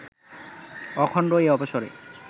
অখণ্ড এই অবসরে